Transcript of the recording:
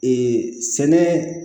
sɛnɛ